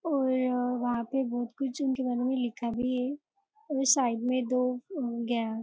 और वहाँ पे बहुत कुछ उनके बारे में लिखा भी है और साइड में दो --